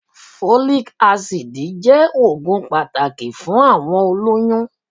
Folic acid jẹ́ òògùn pàtàkì fún àwọn olóyún